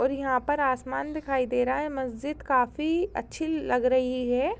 और यहाँ पर आसमान दिखाई दे रहा है। मस्जिद काफी अच्छी लग रही है।